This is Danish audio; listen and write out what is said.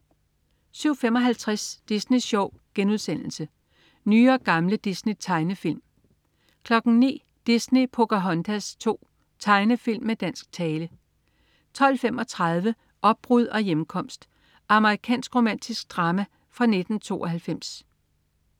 07.55 Disney Sjov.* Nye og gamle Disney-tegnefilm 09.00 Disney: Pocahontas 2. Tegnefilm med dansk tale 12.35 Opbrud og hjemkomst. Amerikansk romantisk drama fra 1992